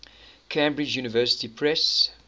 cambridge university press